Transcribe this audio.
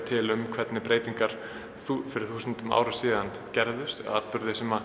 til um hvernig breytingar fyrir þúsundum árum síðan gerðust atburðir sem